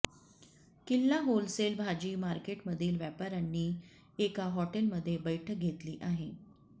किल्ला होलसेल भाजी मार्केटमधील व्यापार्यांनी एका हॉटेलमध्ये बैठक घेतली आहे